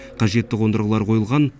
қажетті қондырғылар қойылған